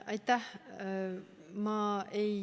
Aitäh!